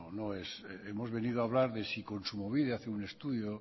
hemos venido a hablar de si kontsumobide hace un estudio